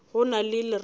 go na le lerato la